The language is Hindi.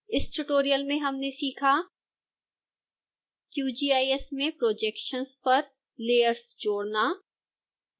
इस tutorial में हमने सीखा